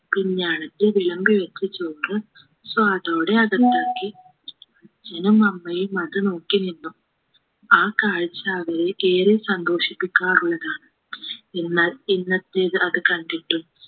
പിഞ്ഞാണത്തിൽ വിളമ്പി വെച്ച ചോറ് സ്വാദോടെ അകത്താക്കി അച്ഛനും അമ്മയും അത് നോക്കി നിന്നു ആ കാഴ്ച അവർക്ക് ഏറെ സന്തോഷിപ്പിക്കാറുള്ളതാണ് എന്നാൽ ഇന്നത്തേത് അത് കണ്ടിട്ടും